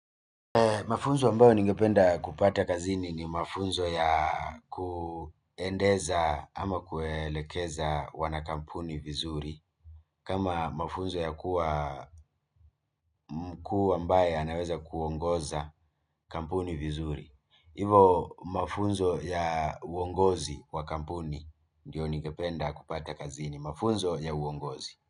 Mafunzo ambayo ningependa kupata kazini ni mafunzo ya kuendeza ama kuelekeza wana kampuni vizuri kama mafunzo ya kuwa mkuu ambaye anaweza kuongoza kampuni vizuri hivo mafunzo ya uongozi wa kampuni ndio ningependa kupata kazini mafunzo ya uongozi.